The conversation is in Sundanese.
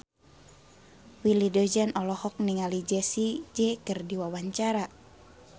Willy Dozan olohok ningali Jessie J keur diwawancara